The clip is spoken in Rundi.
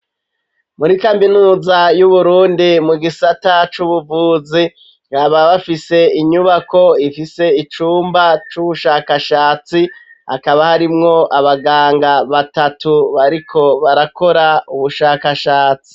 Muri kaminuza y'uburundi mu gisata c'ubuvuzi baba bafise inyubako ifise icumba c'ubushakashatsi akaba harimwo abaganga batatu bariko barakora ubushakashatsi.